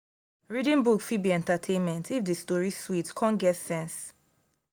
reading book fit be entertainment if the story sweet come get sense.